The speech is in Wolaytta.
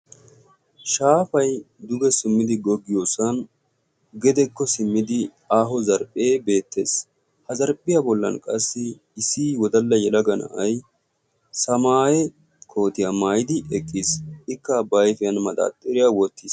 shaafay duge simmidi goggiyoosuwan gedekko simmidi aaho zarphphee beettees ha zarphphiyaa bollan qassi isii wodalla yalaga na'ai samaaye kootiyaa maayidi eqqiis ikka baifiyan maxaaxxiriya wottiis.